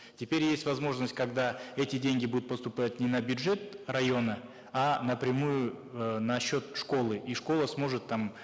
теперь есть возможность когда эти деньги будут поступать не на бюджет района а напрямую э на счет школы и школа сможет там